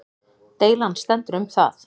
Deilan stendur um það